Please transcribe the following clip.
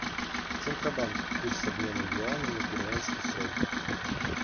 центробанк курс обмена юаня на перуанский соль